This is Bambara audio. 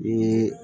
N ye